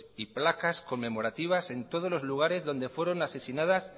y placas conmemorativas en todos los lugares donde fueron asesinadas